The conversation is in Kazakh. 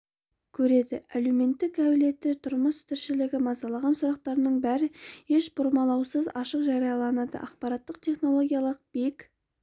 көреді әлеуметтің әлеуеті тұрмыс тіршілігі мазалаған сұрақтарының бәрі еш бұрмалаусыз ашық жарияланады ақпараттық технологиялар билік